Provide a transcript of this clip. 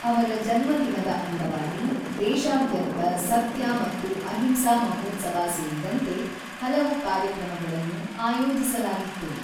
ಅವರ ಜನ್ಮದಿನದ ಅಂಗವಾಗಿ ದೇಶಾದ್ಯಂತ ಸತ್ಯ ಮತ್ತು ಅಹಿಂಸಾ ಮಹೋತ್ಸವ ಸೇರಿದಂತೆ ಹಲವು ಕಾರ್ಯಕ್ರಮಗಳನ್ನು ಆಯೋಜಿಸಲಾಗಿತ್ತು.